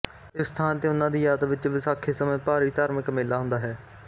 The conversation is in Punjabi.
ਇਸ ਸਥਾਨ ਤੇ ਉਹਨਾਂ ਦੀ ਯਾਦ ਵਿੱਚ ਵਿਸਾਖੀ ਸਮੇਂ ਭਾਰੀ ਧਾਰਮਿਕ ਮੇਲਾ ਹੁੰਦਾ ਹੈ